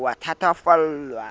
o a thatafallwa ha a